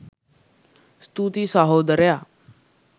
ස්තුතියි සහෝදරයා